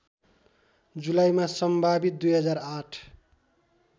जुलाईमा सम्भावित २००८